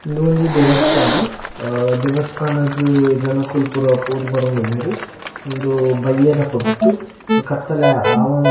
ಉಂದೊಂಜಿ ದೇವಸ್ಥಾನ ಅಹ್ ದೇವಸ್ಥಾನಗ್ ಜನೊಕುಲು ಪುರ ಪೋದು ಬರೊಂದುಲ್ಲೆರ್ ಉಂದು ಬಯ್ಯದ ಪೊರ್ತು ಕತ್ತಲೆ ಅವ್ --